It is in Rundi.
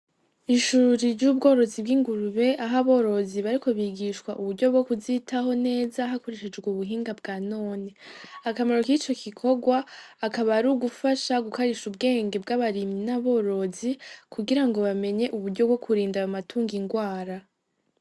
Ishuri ry'ubworozi bw'ingurube aho aborozi bariko bigishwa uburyo bwo kuzitaho neza hakoreshejwe ubuhinga bwa none. Akamaro k'ico gikorwa akaba ari ugufasha gukarisha ubwenge bw'abarimyi n'aborozi, kugira ngo bamenye uburyo bwo kurinda ayo matungo ingwara.